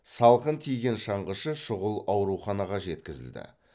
салқын тиген шаңғышы шұғыл ауруханаға жеткізілді